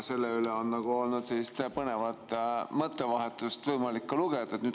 Põnevat mõttevahetust selle üle on olnud ka võimalik lugeda.